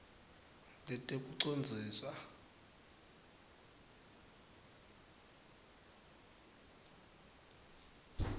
letekucondziswa